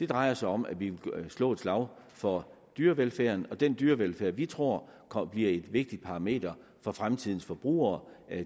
drejer sig om at vi vil slå et slag for dyrevelfærden den dyrevelfærd som vi tror bliver et vigtigt parameter for fremtidens forbrugere